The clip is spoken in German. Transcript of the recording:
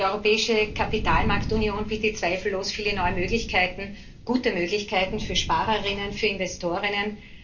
Die europäische Kapitalmarktunion bietet zweifellos viele neue Möglichkeiten, gute Möglichkeiten für Sparer innen, für Investor innen.